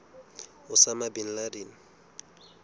osama bin laden